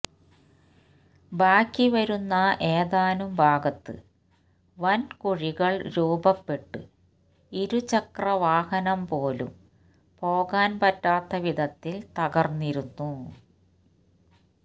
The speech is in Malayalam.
ബാക്കിവരുന്ന ഏതാനും ഭാഗത്ത് വൻ കുഴികൾ രൂപപ്പെട്ട് ഇരുചക്രവാഹനംപോലും പോകാൻ പറ്റാത്ത വിധത്തിൽ തകർന്നിരുന്നു